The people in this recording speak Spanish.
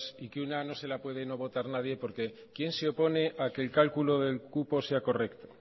y que una no se la pueden no votar nadie porque quién se opone a que el cálculo del cupo sea correcto